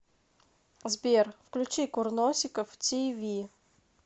сбер включи курносиков ти ви